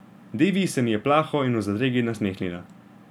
Devi se mi je plaho in v zadregi nasmehnila.